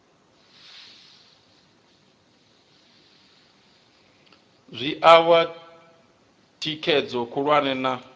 zwi oa thikhedzo khulwane na